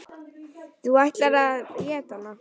Þú ætlaðir að éta hana.